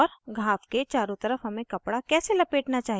और घाव के चारों तरफ हमें कपडा कैसे लपेटना चाहिए